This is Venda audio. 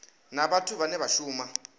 na vhathu vhane vha shuma